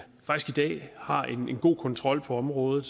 dag har en god kontrol på området